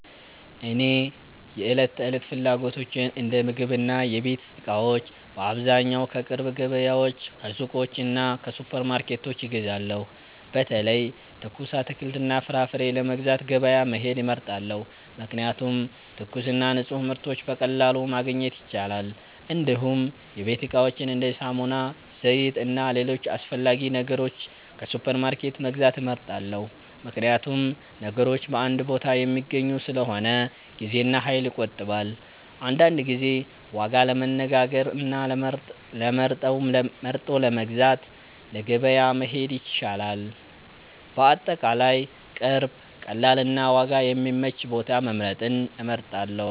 እኔ የዕለት ተዕለት ፍላጎቶቼን እንደ ምግብና የቤት እቃዎች በአብዛኛው ከቅርብ ገበያዎች፣ ከሱቆች እና ከሱፐርማርኬቶች እገዛለሁ። በተለይ ትኩስ አትክልትና ፍራፍሬ ለመግዛት ገበያ መሄድ እመርጣለሁ፣ ምክንያቱም ትኩስና ንፁህ ምርቶች በቀላሉ ማግኘት ይቻላል። እንዲሁም የቤት እቃዎችን እንደ ሳሙና፣ ዘይት እና ሌሎች አስፈላጊ ነገሮች ከሱፐርማርኬት መግዛት እመርጣለሁ፣ ምክንያቱም ነገሮች በአንድ ቦታ የሚገኙ ስለሆነ ጊዜና ኃይል ይቆጠባል። አንዳንድ ጊዜ ዋጋ ለማነጋገር እና ለመርጠው ለመግዛት ገበያ መሄድ ይሻላል። በአጠቃላይ ቅርብ፣ ቀላል እና ዋጋ የሚመች ቦታ መምረጥን እመርጣለሁ።